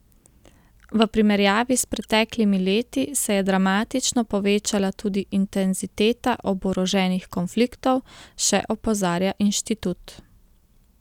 V primerjavi s preteklimi leti se je dramatično povečala tudi intenziteta oboroženih konfliktov, še opozarja inštitut.